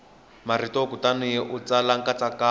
marito kutani u tsala nkatsakanyo